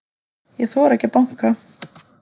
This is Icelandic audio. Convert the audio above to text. Ég þori ekki að banka.